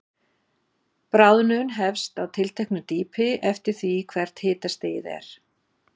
Bráðnun hefst á tilteknu dýpi, eftir því hvert hitastigið er.